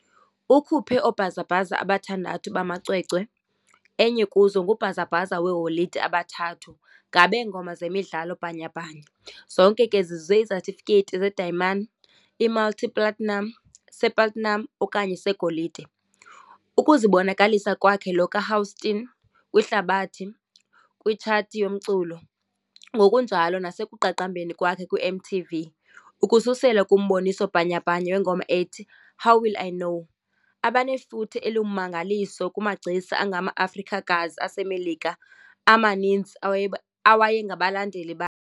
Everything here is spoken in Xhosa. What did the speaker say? Ukhuphe oobhazabhaza abathandathu bamacwecwe, enye kuzo ngubhazabhaza weeholide abathathu ngabeengoma zemidlalo bhanyabhanya, zonke ke zizuze isetifikethi sedayimani, i-multi-platinum, se-platinum okanye segolide, ukuzibonakalisa kwakhe lo kaHouston kwihlabathi kwithsathi yomculo, ngokunjalo nasekuqaqambeni kwakhe kwiMTV, ukususela kumboniso bhanyabhanya wengoma ethi "How Will I Know", abanefuthe elingummangaliso kumagcisa angamaAfrikakazi aseMelika amaninzi awayengabalandeli .